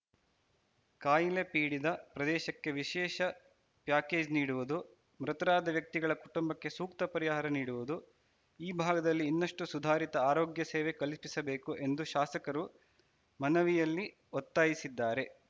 ಕಾಯಿಲೆ ಪೀಡಿದ ಪ್ರದೇಶಕ್ಕೆ ವಿಸೇಷ ಪ್ಯಾಕೇಜ್‌ ನೀಡುವುದು ಮೃತರಾದ ವ್ಯಕ್ತಿಗಳ ಕುಟುಂಬಕ್ಕೆ ಸೂಕ್ತ ಪರಿಹಾರ ನೀಡುವುದು ಆ ಭಾಗದಲ್ಲಿ ಇನ್ನಷ್ಟುಸುಧಾರಿತ ಆರೋಗ್ಯ ಸೇವೆ ಕಲ್ಪಿಸಬೇಕು ಎಂದು ಶಾಸಕರು ಮನವಿಯಲ್ಲಿ ಒತ್ತಾಯಿಸಿದ್ದಾರೆ